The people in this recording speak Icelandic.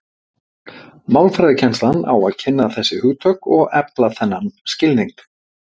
Málfræðikennslan á að kynna þessi hugtök og efla þennan skilning.